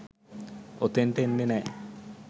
ඔතෙන්ට එන්නේ නෑ.